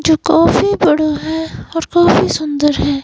जो काफी बड़ा है और काफी सुंदर है।